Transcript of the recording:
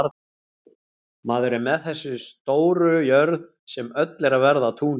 Maður er með þessa stóru jörð, sem öll er að verða að túni.